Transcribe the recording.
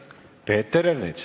Peeter Ernits.